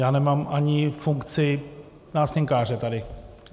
Já nemám ani funkci nástěnkáře tady.